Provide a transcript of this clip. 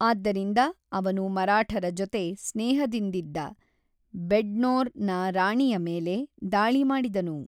ಆದ್ದರಿಂದ ಅವನು ಮರಾಠರ ಜೊತೆ ಸ್ನೇಹದಿಂದಿದ್ದ ಬೆಡ್ನೋರ್ ನ ರಾಣಿಯ ಮೇಲೆ ದಾಳಿ ಮಾಡಿದನು.